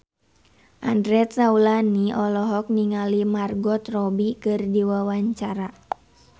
Andre Taulany olohok ningali Margot Robbie keur diwawancara